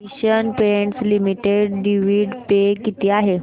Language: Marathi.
Asian paints limited dividend pay किती आहे